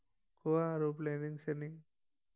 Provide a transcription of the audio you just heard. কোৱা আৰু প্লেনিং শ্লেনিং